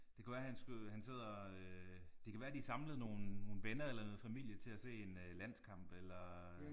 Det kunne være han skulle han sidder øh det kan være de er samlet nogle nogle venner eller noget familie til at se en landskamp eller